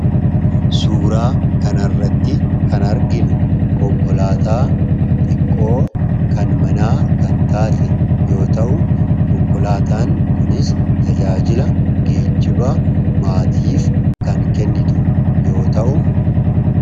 Suuraa kana irratti kan arginu konkolaataa xiqqoo kan manaa kan taate yoota'u konkolaataan kunis tajaajila geejiba maatiif kan kennitu yoo ta'u